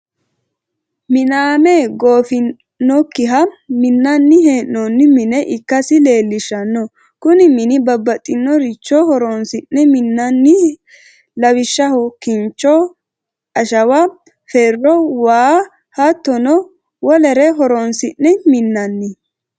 Miname goofinokkiha minani hee'nonni mine ikkasi leellishano, kuni mini babaxinoricho horonsine minaniho, lawishaho kinicho, ashawa, fero, waa hattono wolere horonsine minani